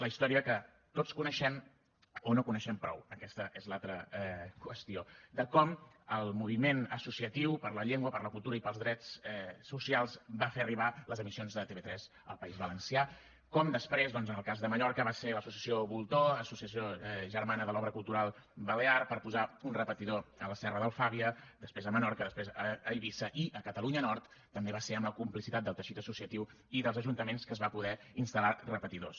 la història que tots coneixem o no coneixem prou aquesta és l’altra qüestió de com el moviment associatiu per la llengua per la cultura i pels drets socials va fer arribar les emissions de tv3 al país valencià com després doncs en el cas de mallorca va ser l’associació voltor associació germana de l’obra cultural balear per posar un repetidor a la serra d’alfàbia després a menorca després a eivissa i a catalunya nord també va ser amb la complicitat del teixit associatiu i dels ajuntaments que es van poder instal·lar repetidors